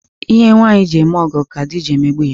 Ihe nwaanyi ji eme ọgọ ka di ji emegbu ya.